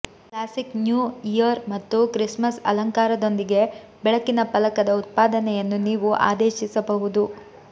classic new year ಮತ್ತು Christmas ಅಲಂಕಾರದೊಂದಿಗೆ ಬೆಳಕಿನ ಫಲಕದ ಉತ್ಪಾದನೆಯನ್ನು ನೀವು ಆದೇಶಿಸಬಹುದು